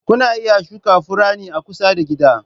Kuna iya shuka furanni a kusa da gida.